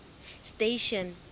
station